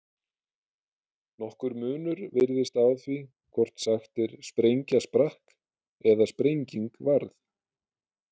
Nokkur munur virðist á því hvort sagt er sprengja sprakk eða sprenging varð.